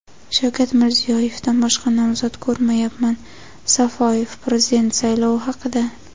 Shavkat Mirziyoyevdan boshqa nomzod ko‘rmayapman – Safoyev prezident saylovi haqida.